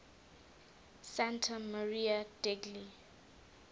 santa maria degli